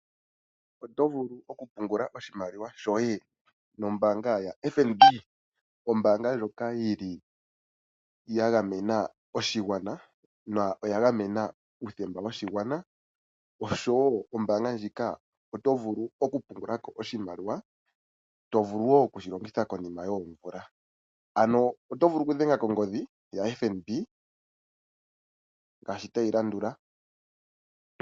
Otovulu okupungula oshimaliwa shoye nombanga yo FNB, ombanga ndjoka yili yangamena oshingwana noyangamena uuthemba woshingwana, osho wo ombanga ndjika oto vulu okupungulako oshimaliwa to vulu wo oku shilongitha konima yoomvula, ano oto vulu okudhenga kongodhi ya FNB ngashi tayilandula.